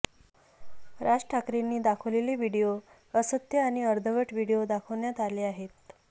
राज ठाकरेंनी दाखवलेले व्हिडिओ असत्य आणि अर्धवट व्हिडिओ दाखवण्यात आले आहेत